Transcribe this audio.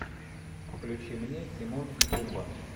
включи мне тимон и пумба